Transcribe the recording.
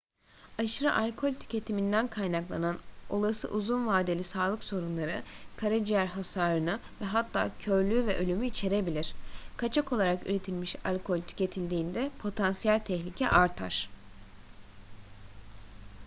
aşırı alkol tüketiminden kaynaklanan olası uzun vadeli sağlık sorunları karaciğer hasarını ve hatta körlüğü ve ölümü içerebilir kaçak olarak üretilmiş alkol tüketildiğinde potansiyel tehlike artar